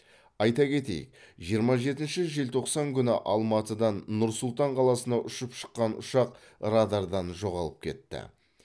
айта кетейік жиырма жетінші желтоқсан күні алматыдан нұр сұлтан қаласына ұшып шыққан ұшақ радардан жоғалып кетті